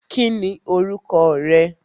Kí ni orúkọ rẹ?